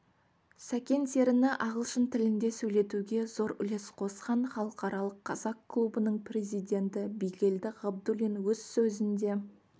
сәкен серіні ағылшын тілінде сөйлетуге зор үлес қосқан халықаралық қазақ клубының президенті бигелді ғабдуллин өз сөзінде